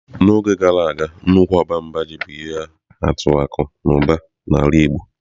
N'oge gara aga nnukwu ọba mba ji bụ ihe atụ akụ na ụba na ala igbo.